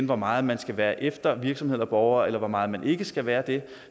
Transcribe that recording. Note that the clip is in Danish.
hvor meget man skal være efter virksomheder eller borgere eller hvor meget man ikke skal være det